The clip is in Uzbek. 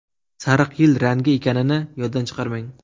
Sariq yil rangi ekanini yoddan chiqarmang.